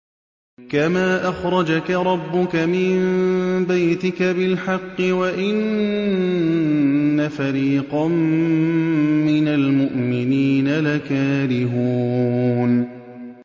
كَمَا أَخْرَجَكَ رَبُّكَ مِن بَيْتِكَ بِالْحَقِّ وَإِنَّ فَرِيقًا مِّنَ الْمُؤْمِنِينَ لَكَارِهُونَ